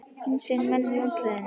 Hinsegin menn í landsliðinu?